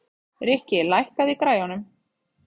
Rikki, lækkaðu í græjunum.